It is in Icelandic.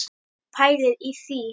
Pælið í því!